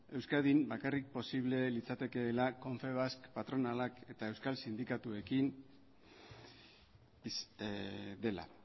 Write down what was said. euskadin bakarrik posible litzatekeela confebask patronalak eta euskal sindikatuekin dela